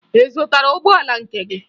Ị zụtara ụgbọala nke gị?